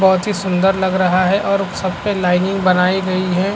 बहोत ही सुंदर लग रहा है और सब पे लाइनिंग बनाई गई है।